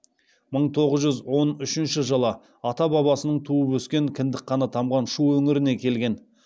мың тоғыз жүз он үшінші жылы ата бабасының туып өскен кіндік қаны тамған шу өңіріне келген